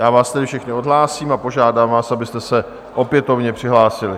Já vás tedy všechny odhlásím a požádám vás, abyste se opětovně přihlásili.